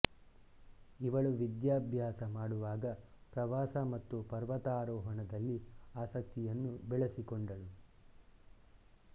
ಇವಳು ವಿದ್ಯಾಭ್ಯಾಸ ಮಾಡುವಾಗ ಪ್ರವಾಸ ಮತ್ತು ಪರ್ವತಾರೋಹಣದಲ್ಲಿ ಆಸಕ್ತಿಯನ್ನು ಬೆಳೆಸಿಕೊಂಡಳು